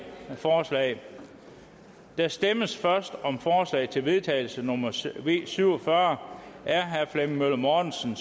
forslag der stemmes først om forslag til vedtagelse nummer v syv og fyrre af flemming møller mortensen